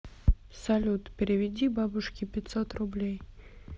салют переведи бабушке пятьсот рублей